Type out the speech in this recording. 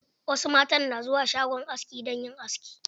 Wasu matan na zuwa shagon aski dan yin aski.